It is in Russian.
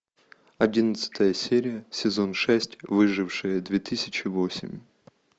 одиннадцатая серия сезон шесть выжившие две тысячи восемь